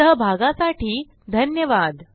सहभागासाठी धन्यवाद